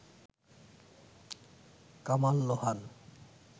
Kamal Lohan